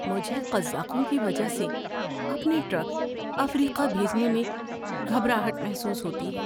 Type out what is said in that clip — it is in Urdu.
مجھے قزاقوں کی وجہ سے اپنے ٹرک افریقہ بھیجنے میں گھبراہٹ محسوس ہوتی ہے۔